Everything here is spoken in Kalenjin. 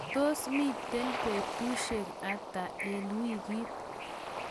tos mito betusiek ata eng' wikit?